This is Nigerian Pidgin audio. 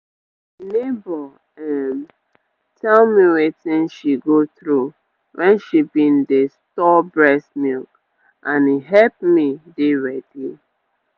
neighbour um tell me wetin she go through when she bin dey store breast milk and e hep me dey ready